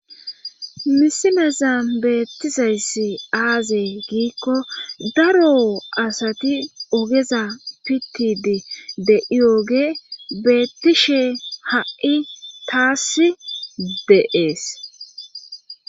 misimeza beettizayssi aaze giikko daro asati ogeza pittidi de7iyooge beettishe ha7i taass de7ees.